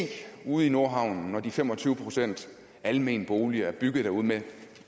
ude i nordhavn når de fem og tyve procent almene boliger er bygget derude med